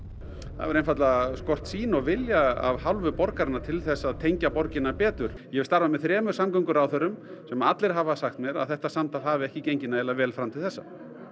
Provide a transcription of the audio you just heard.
það hefur einfaldlega skort sýn og vilja af hálfu borgarinnar til þess að tengja borgina betur ég hef starfað með þremur samgönguráðherrum sem allir hafa sagt mér að þetta samtal hafi ekki gengið nægilega vel fram til þessa